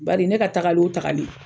Baari ne ka taagali o taagali.